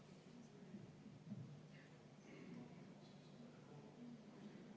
Absoluutselt teine teema, absoluutselt teine valdkond.